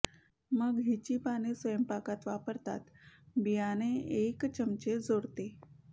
मग हिची पाने स्वयंपाकात वापरतात बियाणे एक चमचे जोडते